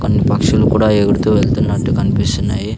కొన్ని పక్షులు కూడా ఎగుడుతూ వెళ్తున్నట్టు కన్పిస్తున్నాయి.